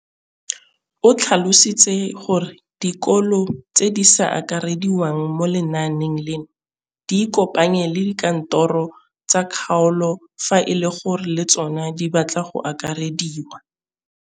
O tlhalositse gore dikolo tse di sa akarediwang mo lenaaneng leno di ikopanye le dikantoro tsa kgaolo fa e le gore le tsona di batla go akarediwa.